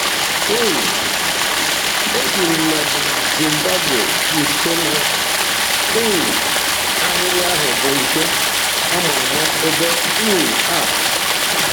um E bi m na Zimbabwe nke na um ahịrị ahụ bụ nke a ma ama ebe um a!